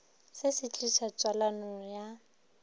se se tliša tswalano ya